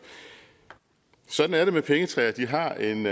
sådan er det med pengetræer de har en